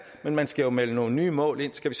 men man skal jo melde nogle nye mål ind skal